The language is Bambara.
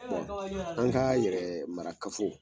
Bɔn an ka yɛrɛ mara kafo